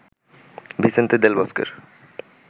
Vicente del বস্কের